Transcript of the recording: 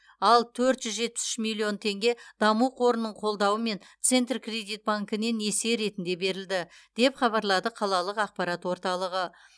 ал төрт жүз жетпіс үш миллион теңге даму қорының қолдауымен центркредит банкінен несие ретінде берілді деп хабарлады қалалық ақпарат орталығы